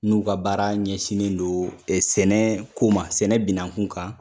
N'u ka baara ɲɛsinnen don sɛnɛ ko ma sɛnɛ binankun kan.